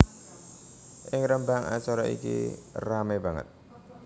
Ing Rembang acara iki ramé banget